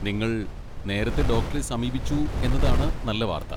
നിങ്ങൾ നേരത്തെ ഡോക്ടറെ സമീപിച്ചു എന്നതാണ് നല്ല വാർത്ത.